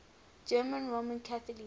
german roman catholics